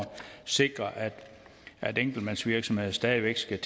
sikre at enkeltmandsvirksomheder stadig væk skal